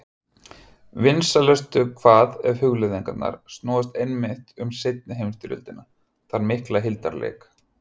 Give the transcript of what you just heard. Vinsælustu hvað ef hugleiðingarnar snúast einmitt um seinni heimsstyrjöldina, þann mikla hildarleik.